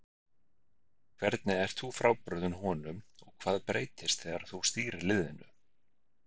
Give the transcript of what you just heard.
Hvernig ert þú frábrugðinn honum og hvað breytist þegar þú stýrir liðinu?